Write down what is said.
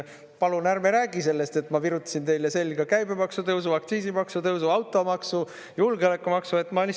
Palun ärme räägi sellest, et ma virutasin teile selga käibemaksu tõusu, aktsiisimaksu tõusu, automaksu, julgeolekumaksu!